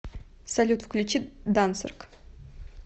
салют включи дансерг